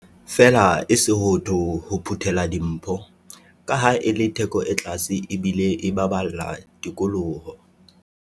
feela e sootho ho phuthela dimpho, kaha e le theko e tlase ebile e baballa tikoloho.